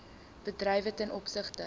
bedrywe ten opsigte